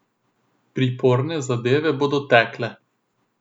Priporne zadeve bodo tekle.